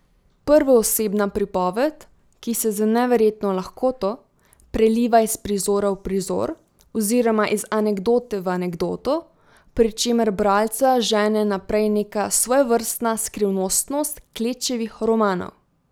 Prvoosebna pripoved, ki se z neverjetno lahkoto preliva iz prizora v prizor oziroma iz anekdote v anekdoto, pri čemer bralca žene naprej neka svojevrstna skrivnostnost Klečevih romanov.